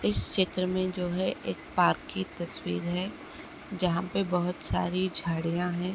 इस चित्र मे जो है एक पार्क की तस्वीर है जहाँ पे बोहोत सारी झड़ियाँ हैं ।